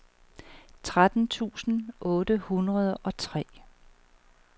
tretten tusind otte hundrede og tre